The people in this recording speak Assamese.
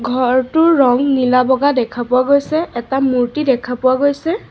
ঘৰটোৰ ৰং নীলা বগা দেখা পোৱা গৈছে এটা মূৰ্ত্তি দেখা পোৱা গৈছে।